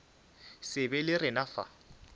se be le rena fa